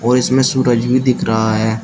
और इसमें सूरज भी दिख रहा है।